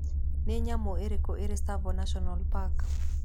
Nĩ nyamũ irĩkũ irĩ Tsavo National Park?